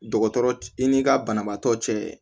Dɔgɔtɔrɔ i ni ka banabaatɔ cɛ